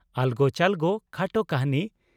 "ᱟᱞᱜᱚ ᱪᱟᱞᱜᱚ" (ᱠᱷᱟᱴᱚ ᱠᱟᱹᱦᱱᱤ)